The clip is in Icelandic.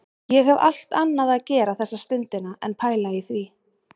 Ég hef allt annað að gera þessa stundina en pæla í því